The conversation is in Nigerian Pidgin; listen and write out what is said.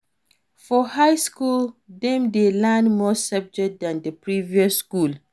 For high school dem de learn more subject than the previous school